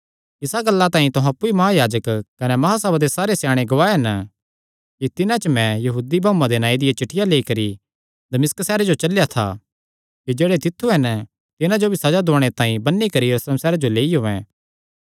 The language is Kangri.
इसा गल्ला तांई अप्पु ई महायाजक कने महासभा दे सारे स्याणे गवाह हन कि तिन्हां च मैं यहूदी भाऊआं दे नांऐ दियां चिठ्ठियां लेई करी दमिश्क सैहरे जो चलेया था कि जेह्ड़े तित्थु हन तिन्हां जो भी सज़ा दुआणे तांई बन्नी करी यरूशलेम सैहरे जो लेई औयें